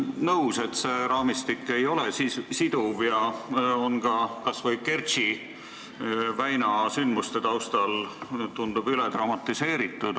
Olen nõus, et see raamistik ei ole siduv ja tundub kas või Kertši väina sündmuste taustal üledramatiseeritud.